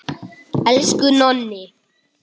Elsku Nonni.